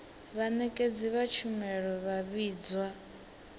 vhanekedzi vha tshumelo vha vhidzwa